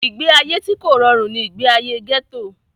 ìgbé ayé tí kò rọrùn ni ìgbé ayé gẹ́tò